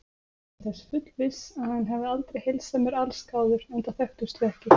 Ég er þess fullviss, að hann hefði aldrei heilsað mér allsgáður, enda þekktumst við ekki.